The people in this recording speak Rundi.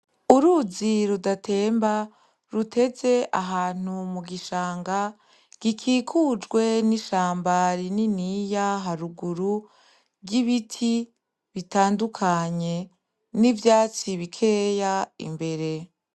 Uruzi rudatemba ruteze ahantu mugishanga gikikujwe n’ishamba rininiya haruguru ry’ ibiti bitandukanye, n’ivyatsi bikeya imbere.